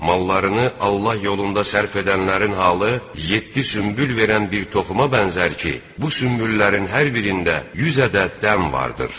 Mallarını Allah yolunda sərf edənlərin halı, yeddi sünbül verən bir toxuma bənzər ki, bu sünbüllərin hər birində 100 ədəd dən vardır.